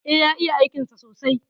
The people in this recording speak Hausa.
E, ya iya aikinsa sosai.